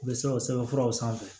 U bɛ se ka sɛbɛnfuraw sanfɛ